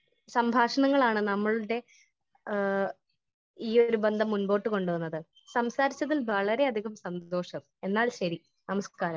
Speaker 1 സംഭാഷണങ്ങളാണ് നമ്മളുടെ ഈ ഒരു ബന്ധം മുമ്പോട്ട് കൊണ്ട് പോകുന്നത് . സംസാരിച്ചതിൽ വളരെ അധികം സന്തോഷം. എന്നാൽ ശെരി നമസ്കാരം .